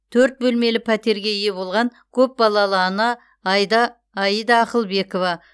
төрт бөлмелі пәтерге ие болған көпбалалы ана айда ақылбекова